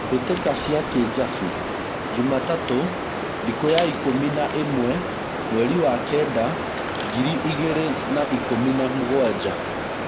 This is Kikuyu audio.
mbĩtĩka cia Kĩjabi .Jumatatũthĩkũya ikũmi na ĩmwe mweri wa kenda, ngiri igĩrĩ na ikũmi na mũgwanja.